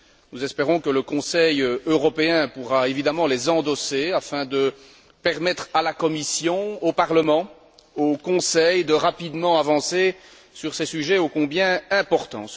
Nous espérons que le Conseil européen pourra évidemment les endosser afin de permettre à la Commission, au Parlement, au Conseil, de rapidement avancer sur ces sujets ô combien importants.